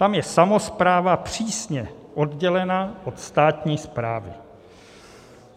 Tam je samospráva přísně oddělena od státní správy.